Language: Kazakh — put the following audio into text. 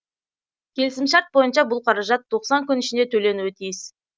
келісімшарт бойынша бұл қаражат тоқсан күн ішінде төленуі тиіс